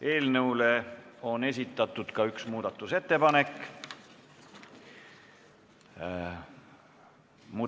Eelnõu kohta on esitatud ka üks muudatusettepanek.